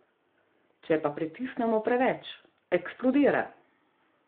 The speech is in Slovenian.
Če pa pritisnemo preveč, eksplodira.